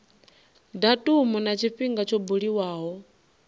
datumu na tshifhinga tsho buliwaho